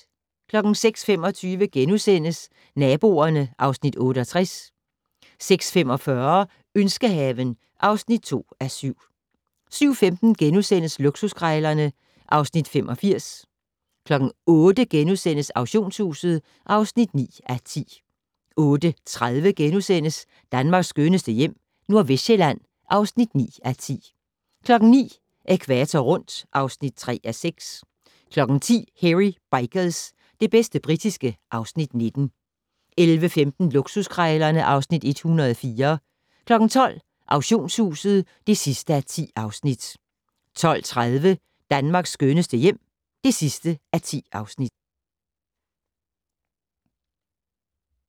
06:25: Naboerne (Afs. 68)* 06:45: Ønskehaven (2:7) 07:15: Luksuskrejlerne (Afs. 85)* 08:00: Auktionshuset (9:10)* 08:30: Danmarks skønneste hjem - Nordvestsjælland (9:10)* 09:00: Ækvator rundt (3:6) 10:00: Hairy Bikers - det bedste britiske (Afs. 19) 11:15: Luksuskrejlerne (Afs. 104) 12:00: Auktionshuset (10:10) 12:30: Danmarks skønneste hjem (10:10)